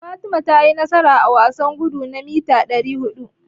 Fatima tayi nasara a wasan gudu na mita ɗari huɗu.